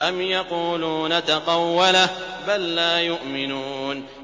أَمْ يَقُولُونَ تَقَوَّلَهُ ۚ بَل لَّا يُؤْمِنُونَ